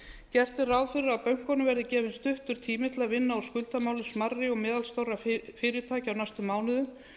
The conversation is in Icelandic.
gert er ráð fyrir að bönkunum verði gefinn stuttur tími til að vinna úr skuldamálum smærri og meðalstórra fyrirtækja á næstu mánuðum